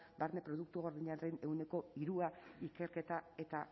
barne produktu gordinaren ehuneko hiru ikerketa eta